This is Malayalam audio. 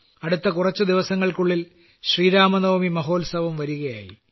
അടുത്ത കുറച്ചു ദിവസങ്ങൾക്കുള്ളിൽ ശ്രീരാമനവമി മഹോത്സവവും വരുകയായി